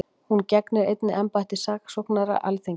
Hún gegnir einnig embætti saksóknara Alþingis